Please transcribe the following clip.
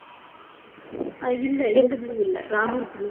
இல்லை இந்த blue இல்லை. ராமர் blue